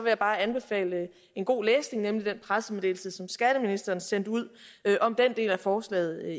jeg anbefale en god læsning nemlig den pressemeddelelse som skatteministeren sendte ud om den del af forslaget